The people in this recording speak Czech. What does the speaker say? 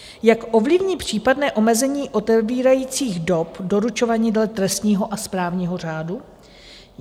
Jak ovlivní případné omezení otevíracích dob doručování dle trestního a správního řádu?